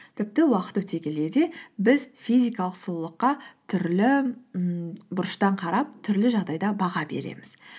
тіпті уақыт өте келе де біз физикалық сұлулыққа түрлі ммм бұрыштан қарап түрлі жағдайда баға береміз